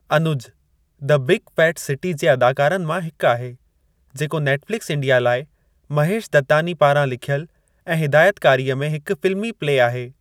Anuj the big fat city जे अदाकारनि मां हिकु आहे, जेको नेटफ्लिक्स इंडिया लाइ महेश दत्तानी पारां लिखियलु ऐं हिदायतकारीअ में हिकु फ़िल्मी-प्ले आहे।